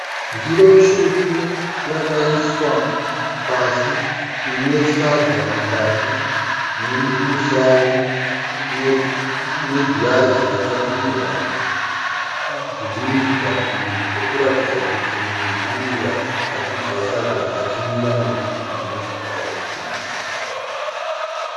Ndiro tsvuku yakaiswa pasi ine sadza mukati neusavi negirazi rakadirwa dhiringi padivi rokuratidza kuti munhu anenge achidya sadza achimwira nezvidhiringi parutivi.